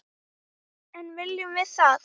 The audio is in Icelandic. En viljum við það?